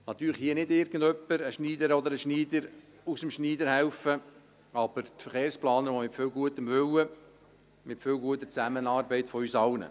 Natürlich kann uns hier nicht irgendjemand, eine Schneiderin oder ein Schneider, aus dem Schneider helfen, wohl aber die Verkehrsplaner mit viel gutem Willen, mit viel guter Zusammenarbeit von uns allen.